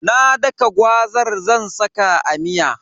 Na daka gwazar zan saka a miya.